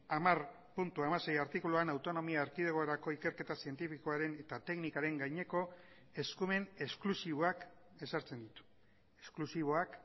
hamar puntu hamasei artikuluan autonomia erkidegorako ikerketa zientifikoaren eta teknikaren gaineko eskumen esklusiboak ezartzen ditu esklusiboak